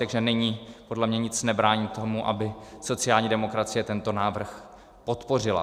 Takže nyní podle mě nic nebrání tomu, aby sociální demokracie tento návrh podpořila.